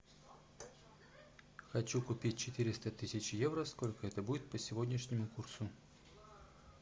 хочу купить четыреста тысяч евро сколько это будет по сегодняшнему курсу